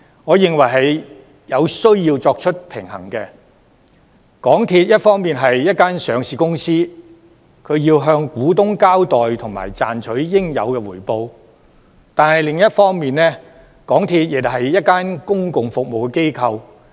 我認為港鐵公司是有需要作出平衡的，因為港鐵公司一方面是一間上市公司，要向股東交代及賺取應有的回報，但另一方面亦是一間公共服務機構。